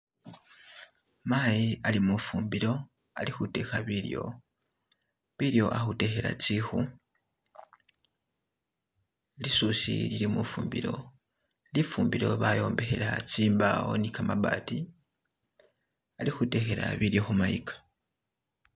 Mayi ali mufumbilo alikudeka bilyo, bilyo a'kudekela zikku, lisusi lili mufumbilo, lifumbilo bayombekela zimbawo ni gamabati, alikudekela bilyo kumayiga